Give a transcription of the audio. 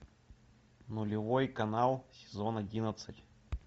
нулевой канал сезон одиннадцать